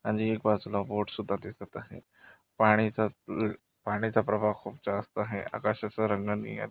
आणि एक बाजूला बोटसुद्धा दिसत आहे. पाणीचा पाणीचा प्रभाव खूप जास्त आहे. आकाश अस रंग नीळ--